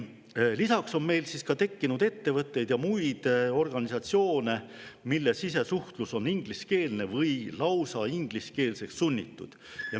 Lisaks on meil tekkinud ettevõtteid ja muid organisatsioone, mille sisesuhtlus on ingliskeelne või lausa ingliskeelseks sunnitud.